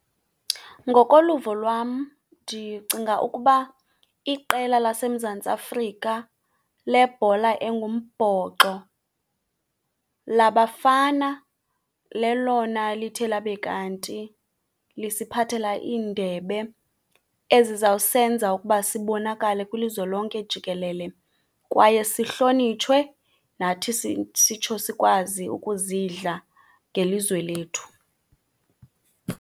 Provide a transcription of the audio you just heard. Ngokoluvo lwam ndicinga ukuba iqela laseMzantsi Afrika lebhola engumbhoxo labafana lelona lithe labe kanti lisiphathela iindebe ezizawusenza ukuba sibonakale kwilizwe lonke jikelele, kwaye sihlonitshwe nathi sitsho sikwazi ukuzidla ngelizwe lethu.